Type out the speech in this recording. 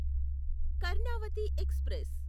Karnavati express